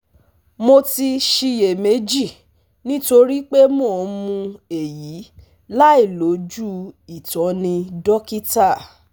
mo ti ṣiyèméjì nítorí pé mo ń mu èyí láìlójú ìtọ́ni dókítà